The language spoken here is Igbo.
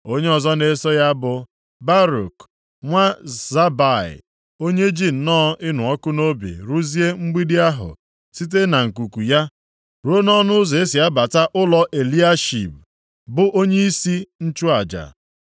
Onye ọzọ na-eso ya bụ Baruk, nwa Zabai, onye ji nnọọ ịnụ ọkụ nʼobi rụzie mgbidi ahụ site na nkuku ya ruo nʼọnụ ụzọ e si abata ụlọ Eliashib, bụ onyeisi nchụaja.